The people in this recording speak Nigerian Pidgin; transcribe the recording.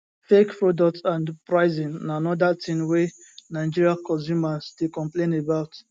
fake products and pricing na anoda tin wey nigeria consumers dey complain about